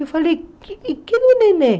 Eu falei, cadê o neném?